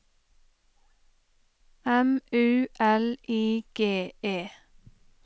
M U L I G E